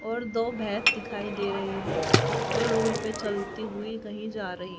और दो भैंस दिखाई दे रही है जो रोड पे चलती हुई कहीं जा रही--